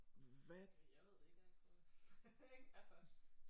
Ja jeg ved det ikke jeg har ikke prøvet det ik altså